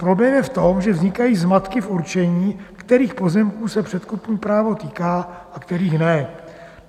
Problém je v tom, že vznikají zmatky v určení, kterých pozemků se předkupní právo týká a kterých ne.